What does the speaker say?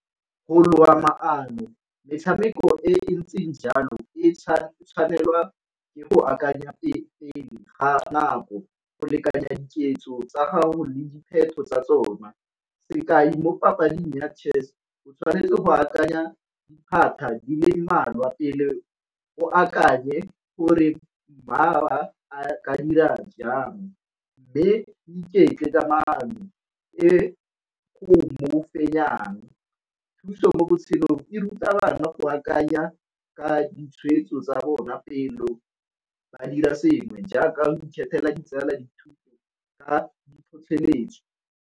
Go loga maano metshameko e ntseng jalo e tshwanelwa ke go akanya pele ga nako go lekanya diketso tsa gago le dipheto tsa tsona, sekai mo papading ya Chess o tshwanetse go akanya diphatlha di le mmalwa pele o akanye gore ka dira jang, mme o iketle ka maano e o mo fenyang. Thuso mo botshelo e ruta bana go akanya ka ditshweetso tsa bona pele ba dira sengwe jaaka go ikgethela ditsala, tlhotlheletso.